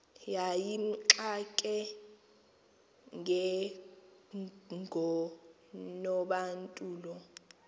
yayimxake njengonobantu lo